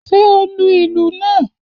Ṣé o lu ìlù náà?